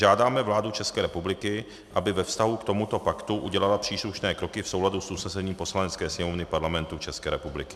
Žádáme vládu České republiky, aby ve vztahu k tomuto paktu udělala příslušné kroky v souladu s usnesením Poslanecké sněmovny Parlamentu České republiky."